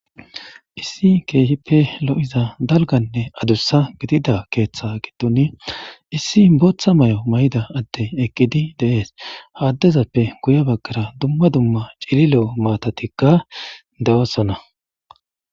issi keehippe lo7iza dalganne adussa gidida keeththa giddoni issi booththa may7o may7da adde eqqidi de7es haaddezappe guya baggara dumma dumma cilile7o maatatikka de7osana